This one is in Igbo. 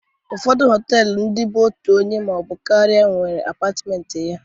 Ụfọdụ họtelu ndịa bụ otu onye maọbụ karịa nwee apatmenti ya